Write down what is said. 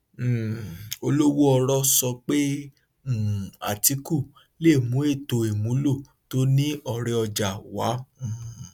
um olówóọrọ sọ pé um atiku lè mú ètò ìmúlo tó ní ọrẹọjà wá um